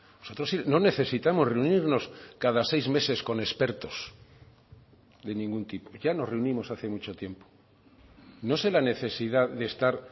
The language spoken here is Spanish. nosotros no necesitamos reunirnos cada seis meses con expertos de ningún tipo ya nos reunimos hace mucho tiempo no se la necesidad de estar